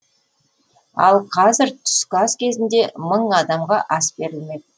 ал қазір түскі ас кезінде мың адамға ас берілмек